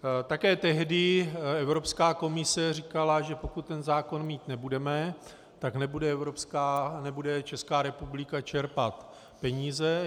Také tehdy Evropská komise říkala, že pokud ten zákon mít nebudeme, tak nebude Česká republika čerpat peníze.